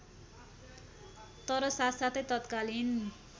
तर साथसाथै तत्कालीन